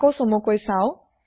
আকৌ চমুকৈ চাও